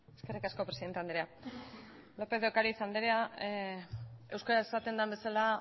eskerrik asko presidente andrea lópez de ocariz anderea euskara esaten den bezala